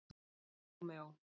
Rómeó